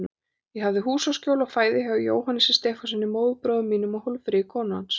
Ég hafði húsaskjól og fæði hjá Jóhannesi Stefánssyni, móðurbróður mínum, og Hólmfríði, konu hans.